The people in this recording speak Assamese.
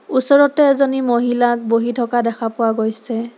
ওচৰতে এজনী মহিলাক বহি থকা দেখা পোৱা গৈছে।